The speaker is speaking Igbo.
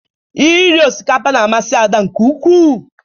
Iri osikapa ga-amasị Ada nke ukwu.